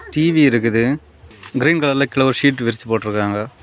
TV இருக்குது green கலர்ல கீழ ஒரு ஷீட் விரிச்சி போட்ருக்காங்க.